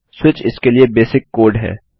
switch इसके लिए basic code है